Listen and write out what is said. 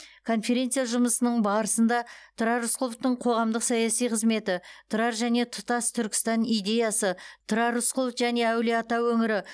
конференция жұмысының барысында тұрар рысқұловтың қоғамдық саяси қызметі тұрар және тұтас түркістан идеясы тұрар рысқұлов және әулие ата өңірі